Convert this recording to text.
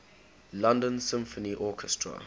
london symphony orchestra